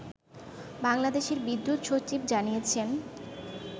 বাংলাদেশের বিদ্যুৎ সচিব জানিয়েছেন